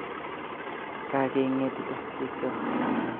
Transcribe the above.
Kakenge'tite bikyok